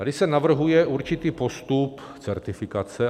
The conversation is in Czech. Tady se navrhuje určitý postup certifikace.